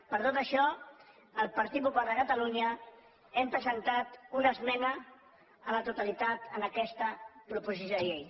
per tot això el partit popular de catalunya hem presentat una esmena a la totalitat a aquesta proposició de llei